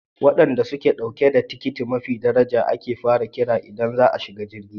Wadanda suke dauke da tikiti mafi daraja ake fara kira idan za a shiga jirgi.